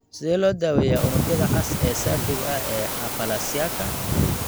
Sidee loo daweeyaa unugyada cas ee saafiga ah ee aplasiaka